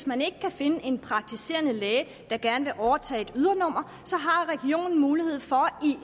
man ikke kan finde en praktiserende læge der gerne vil overtage et ydernummer så har regionen mulighed for